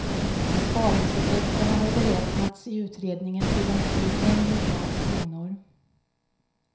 Besparingseffekterna har beräknats i utredningen till omkring en miljard kronor.